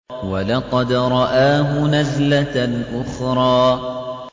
وَلَقَدْ رَآهُ نَزْلَةً أُخْرَىٰ